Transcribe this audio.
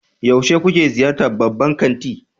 Yaushe kuke ziyartar babban kanti?